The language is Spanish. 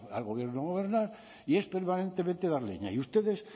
al gobierno gobernar y es permanentemente dar leña y a ustedes